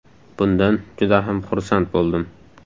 Bundan juda ham xursand bo‘ldim.